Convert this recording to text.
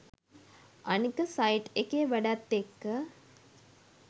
අනික සයිට් එකේ වැඩත් එක්ක